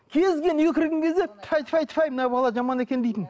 кез келген үйге кірген кезде тфәй тфәй тфәй мына бала жаман екен дейтін